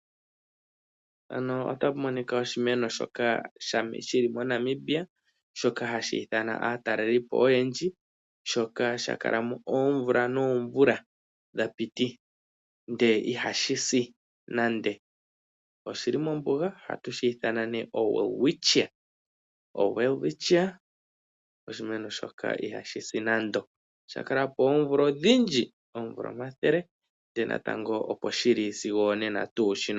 Ano otapu monika oshimeno shoka shili moNamibia shoka hashi ithana aatalelipo oyendji shoka shakalamo oomvula noomvula dhapiti ndee ihashi si nande, oshili mombuga ohatu shi ithana nee oWelwitchia. Oshimeno shoka ihashi si nando oshakalapo oomvula odhindji oomvula omathele ndele natango opo shili sigo onena.